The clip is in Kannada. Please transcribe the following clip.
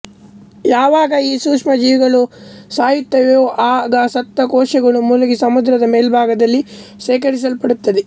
ಯಾವಾಗ ಈ ಸೂಕ್ಷ್ಮಜೀವಿಗಳು ಸಾಯುತ್ತವೆಯೋ ಆಗ ಸತ್ತ ಕೋಶಗಳು ಮುಳುಗಿ ಸಮುದ್ರದ ಮೇಲ್ಭಾಗದಲ್ಲಿ ಶೇಖರಿಸಲ್ಪಡುತ್ತವೆ